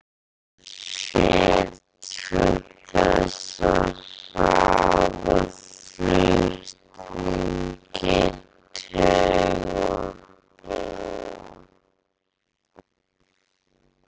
það sér til þess að hraða flutningi taugaboða